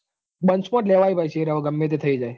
Bunch માં જ લેવાય ભાઈ હવે શેર ભાઈ ગમે તે થઇ જાય.